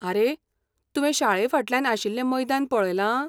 आरे, तुवें शाळेफाटल्यान आशिल्लें मैदान पळयलां?